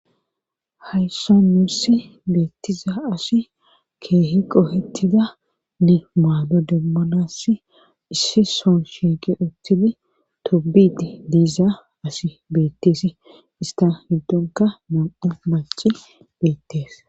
Hayssa nuussi beettiza asi keehi qohettida ni maano demmonass issi son shieqi uththidi tobidi diiza asi beetteesi ista heddonka nam7u maci beettees.